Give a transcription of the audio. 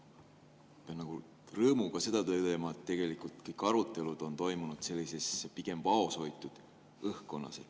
Pean rõõmuga ütlema, et sel teemal on tegelikult kõik arutelud toimunud pigem vaoshoitud õhkkonnas.